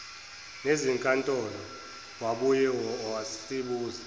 nezinkantolo wabuye wasibuza